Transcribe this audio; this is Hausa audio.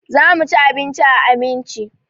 Za mu ci abinci a Aminci.